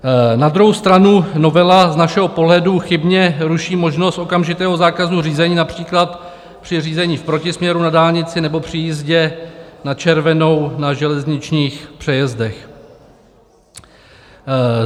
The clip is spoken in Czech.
Na druhou stranu novela z našeho pohledu chybně ruší možnost okamžitého zákazu řízení, například při řízení v protisměru na dálnici nebo při jízdě na červenou na železničních přejezdech.